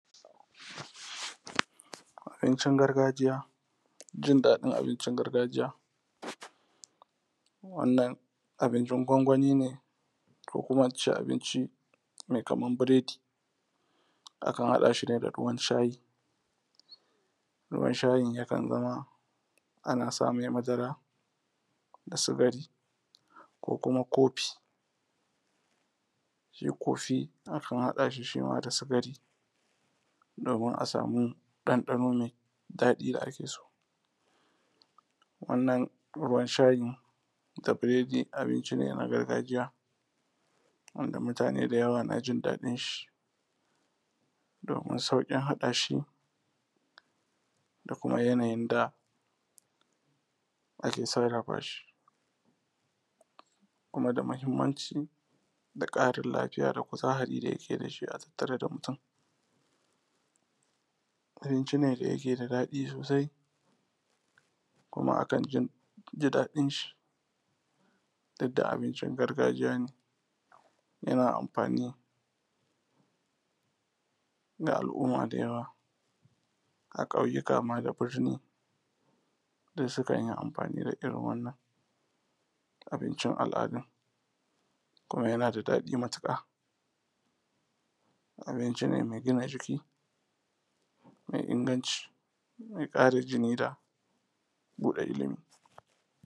abincin gargajiya jindaɗin abincin gargajiya wannan abincin gwangwani ne ko kuma in ce abinci mai kaman biredi akan haɗa shine da ruwan shayi ruwan shayin yakan zama ana samai madara da sukari ko kuma coffee shi coffee akan haɗa shi shi ma da sukari domin a samu ɗanɗano mai daɗi da ake so wannan ruwan shayi da biredin abinci ne na gargajiya wanda mutane da yawa na jin daɗin shi domin sauƙin haɗa shi da kuma yanayin da ake sarrafa shi kuma da muhimmanci da ƙarin lafiya da kuzarin da yake da shi a tattare da mutum abinci ne da yake da daɗi sosai kuma akan ji daɗin shi duk da abincin gargajiya ne yana amfani ga al'umma da yawa a ƙauyika ma da birni duk sukan yi amfani da irin wannan abincin al’adan kuma yana da daɗi matuƙa abinci ne mai gina jiki mai inganci mai ƙara jini da buɗe ilimi